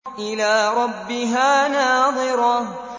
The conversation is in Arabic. إِلَىٰ رَبِّهَا نَاظِرَةٌ